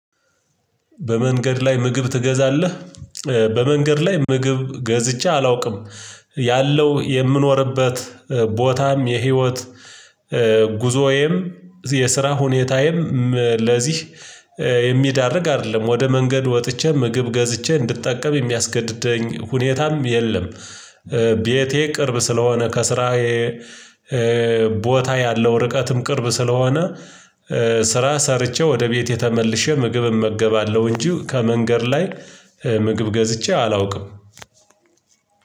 በመንገድ ላይ ምግብ ትገዛለህ? በመንገድ ላይ ምግብ ገዝቼ አላውቅም። ያለው የምኖርበት ቦታም የህይወት ጉዞዬም የስራ ሁኔታዬም ለዚህ የሚያዳርግ አይደለም። ወደ መንገድ ወጥቼ ምግብ ገዝቼ እንድትጠቀም የሚያስገድደኝ ሁኔታም የለም። ቤቴ ቅርብ ስለሆነ ከስራዬ ቦታ ያለው ርቀትም ቅርብ ስለሆነ። ስራ ሰርቼ ወደ ቤቴ ተመልሼ ምግብ እመገባለሁ። እንጂ ከመንገድ ላይ ምግብ ገዝቼ አላውቅም።